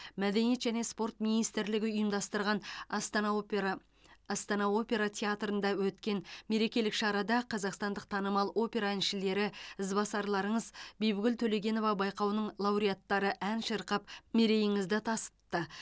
мәдениет және спорт министрлігі ұйымдастырған астана опера астана опера театрында өткен мерекелік шарада қазақстандық танымал опера әншілері ізбасарларыңыз бибігүл төлегенова байқауының лауреаттары ән шырқап мерейіңізді тасытты